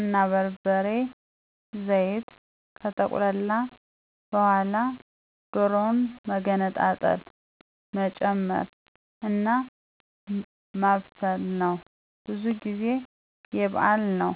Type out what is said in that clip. አና በርበሬ፤ ዘይት ከተቁላላ በውሀላጨ ዶሮውን መገነጣጠሎ መጨመር አና ማብሰል ነው። ብዙ ጊዜ የበዓል ነው።